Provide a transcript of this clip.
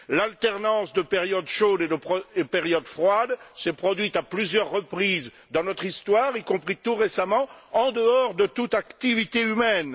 L'alternance de périodes chaudes et de périodes froides s'est produite à plusieurs reprises dans notre histoire, y compris tout récemment, en dehors de toute activité humaine.